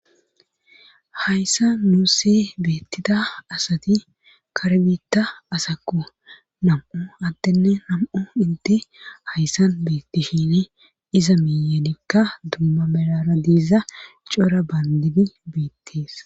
hayssa nuussi beettida asati kar biitta asakku nam7u attinne nam7u inti hayssan beettishini iza miyanikka dumma melara diiza cora bandidi beettees